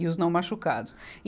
E os não machucados. e